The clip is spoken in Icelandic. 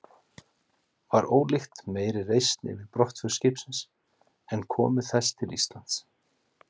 Var ólíkt meiri reisn yfir brottför skipsins en komu þess til Íslands.